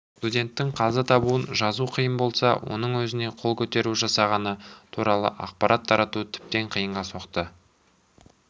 студенттің қаза табуын жазу қиын болса оның өзіне қол көтеру жасағаны туралы ақпарат тарату тіптен қиынға соқты